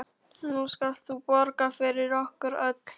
Nú skalt þú borga fyrir okkur öll.